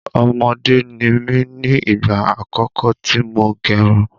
Ọmọdé ni mí ní igba àkọ́kọ́ tí mo gerun